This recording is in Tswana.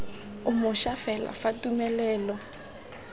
o moša fela fa tumelelo